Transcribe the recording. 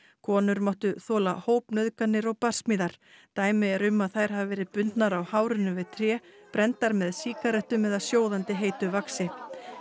konur máttu þola hópnauðganir og barsmíðar dæmi eru um að þær hafi verið bundnar á hárinu við tré brenndar með sígarettum eða sjóðandi heitu vaxi